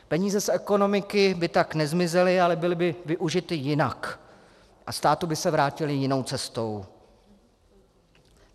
Peníze z ekonomiky by tam nezmizely, ale byly by využity jinak a státu by se vrátily jinou cestou.